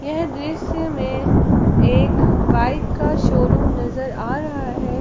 यह दृश्य में एक बाइक का शोरूम नजर आ रहा है।